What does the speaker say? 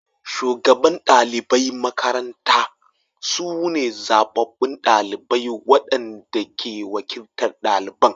Shugaban ɗaliban makarantar su ne zabbabu ɗalibai waɗanda ke wakiltar ɗaliban.